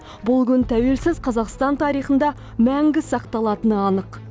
бұл күн тәуелсіз қазақстан тарихында мәңгі сақталатыны анық